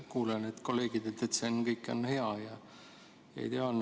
Kuulen kolleegidelt, et see kõik on hea ja ideaalne.